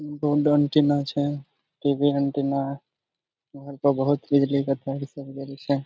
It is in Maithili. बहुत बिजली के तार सब गेल छे।